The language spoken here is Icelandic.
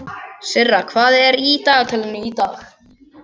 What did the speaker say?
Sirra, hvað er í dagatalinu í dag?